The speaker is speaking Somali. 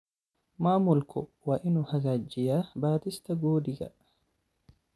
Maamulku waa inuu hagaajiyaa baadhista Guudigaa.